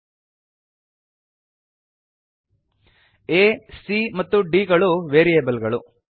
ಆ c ಮತ್ತು d ಗಳು ವೇರಿಯೇಬಲ್ ಗಳು